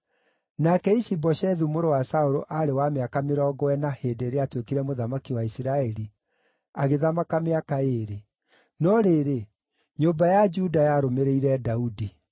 Nake Ishi-Boshethu mũrũ wa Saũlũ aarĩ wa mĩaka mĩrongo ĩna hĩndĩ ĩrĩa aatuĩkire mũthamaki wa Isiraeli, agĩthamaka mĩaka ĩĩrĩ. No rĩrĩ, nyũmba ya Juda yarũmĩrĩire Daudi.